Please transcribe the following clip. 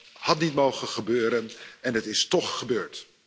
Dat had niet mogen gebeuren, en het is toch gebeurd.